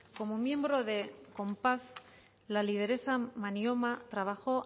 como miembro de conpaz la lideresa manyoma trabajó